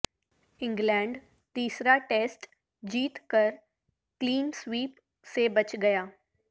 England تیسرا test جیت کر کلین سویپ سے بچ گیا